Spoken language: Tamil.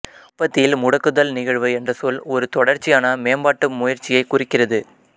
உற்பத்தியில் முடக்குதல் நிகழ்வு என்ற சொல் ஒரு தொடர்ச்சியான மேம்பாட்டு முயற்சியைக் குறிக்கிறது